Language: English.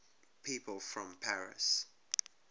people from paris